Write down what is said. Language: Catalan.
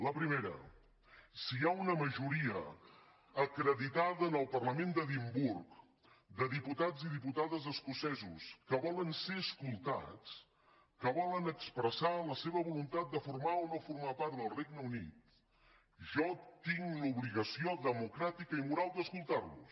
la primera si hi ha una majoria acreditada en el parlament d’edimburg de diputats i diputades escocesos que volen ser escoltats que volen expressar la seva voluntat de formar o no formar part del regne unit jo tinc l’obligació democràtica i moral d’escoltar los